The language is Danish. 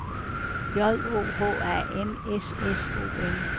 J O H A N S S O N